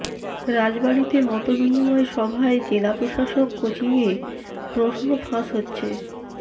রাজবাড়ীতে মতবিনিময় সভায় জেলা প্রশাসক কোচিংয়ে প্রশ্ন ফাঁস হচ্ছে